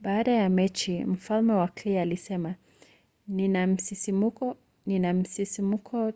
baada ya mechi mfalme wa clay alisema nina msisimko